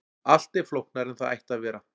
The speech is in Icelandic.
Allt er flóknara en það ætti að vera.